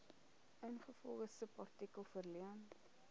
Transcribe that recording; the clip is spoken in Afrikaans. ingevolge subartikel verleen